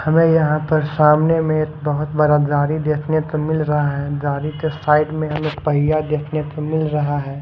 हमे यहां पर सामने मे एक बहोत बड़ा गारी दिखने को मिल रहा है गारी के साइड मे हमे पहिया देखने को मिल रहा है।